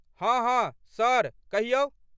हँ हँ सर, कहियौ।